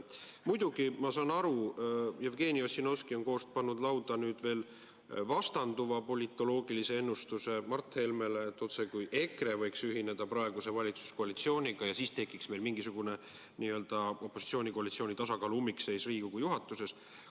Muidugi, ma saan aru, et Jevgeni Ossinovski on pannud lauda veel ühe politoloogilise ennustuse, Mart Helmele vastanduva, otsekui EKRE võiks ühineda praeguse valitsuskoalitsiooniga ja siis tekiks meil mingisugune opositsiooni-koalitsiooni tasakaalu ummikseis Riigikogu juhatuses.